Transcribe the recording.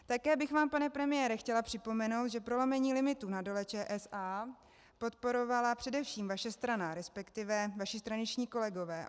Také bych vám, pane premiére, chtěla připomenout, že prolomení limitů na Dole ČSA podporovala především vaše strana, respektive vaši straničtí kolegové.